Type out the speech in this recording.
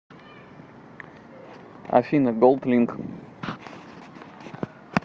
афина голдлинк